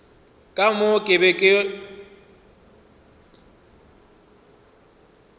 ka moo ke bego ke